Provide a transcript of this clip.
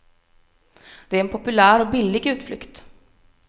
Det är en populär och billig utflykt.